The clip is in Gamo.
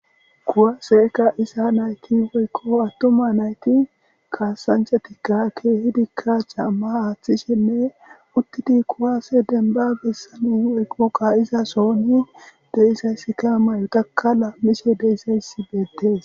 Kuwase kaizay nayti woykko atuma nayti kassanchatika kehiddika caama aththishshenne uttidi kuwase demban mayota lamishshe dizayssi bettes.